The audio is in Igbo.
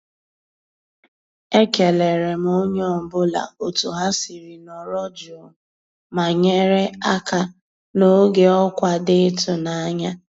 E kéléré m ónyé ọ́ bụ́là ótú há siri nọ̀rọ́ jụ́ụ́ má nyéré àká n'ògé ọ́kwá dị́ ị́tụ́nányá.